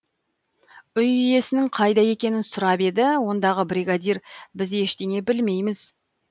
үй иесінің қайда екенін сұрап еді ондағы бригадир біз ештеңе білмейміз